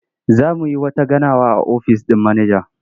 Za mu yi wata ganawa a ofis ɗin manaja.